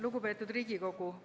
Lugupeetud Riigikogu!